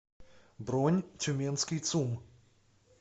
бронь тюменский цум